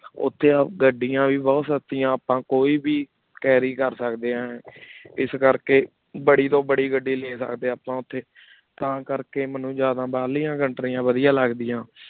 ਓਥੀ ਗਾੜਿਯਾੰ ਵੇ ਬੁਹਤ ਸਸ੍ਤਿਯਾਂ ਕੋਈ ਵੇ carry ਕਰ ਸਕਦੇ ਆਂ ਇਸ ਕਰ ਕੀ ਬਾਰੀ ਤੋ ਬਾਰੀ ਗਦੀ ਲੈ ਸਕਦੇ ਆਪਾਂ ਤਾ ਕਰ ਕੀ ਮੇਨੂ ਜ਼ਿਯਾਦਾ ਬਹਿਰ ਲਿਯਾਂ ਕੋਉਂਤ੍ਰੀਆਂ ਵਾਦਿਯਾਂ ਲਾਗ੍ਦਿਯਾਂ